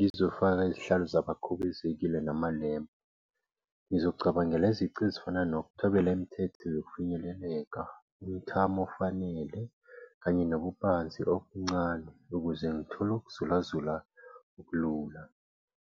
Ngizofaka izihlalo zabakhubazekile namalempu. Ngizocabangela izici ezifana nokuthobela imithetho yokufinyeleleka, umthamo ofanele kanye nobubanzi obuncane ukuze ngithole ukuzulazula okulula.